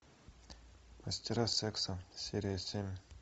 мастера секса серия семь